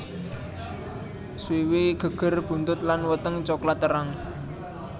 Swiwi geger buntut lan weteng coklat terang